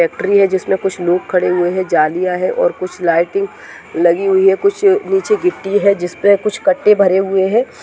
Factory है जिसमे कुछ लोग खड़े हुए है जालियां है और कुछ लाइटिंग लगी हुई है कुछ निचे गिट्टी है जिसपे कुछ कट्टे भरे हुए है।